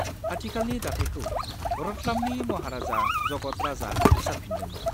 आथिखालनि दाथाइखौ रतलामनि महाराजा जगत राजआ फोसाबफिनदोंमोन।